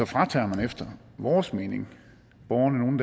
fratager man efter vores mening borgerne nogle